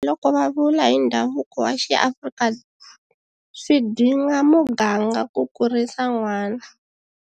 Tanihiloko va vula hi ndhavuko wa xiAfrika Swi dinga muganga ku kurisa n'wana.